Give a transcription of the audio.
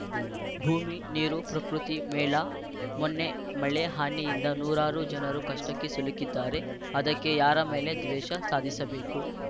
ಭೂಮಿ ನೀರು ಪ್ರಕೃತಿ ಮೇಲಾ ಮೊನ್ನೆ ಮಳೆ ಹಾನಿಯಿಂದ ನೂರಾರು ಜನರು ಕಷ್ಟಕ್ಕೆ ಸಿಲುಕಿದ್ದಾರೆ ಅದಕ್ಕೆ ಯಾರ ಮೇಲೆ ದ್ವೇಷ ಸಾಧಿಸಬೇಕು